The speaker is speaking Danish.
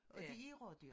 og det er rådyr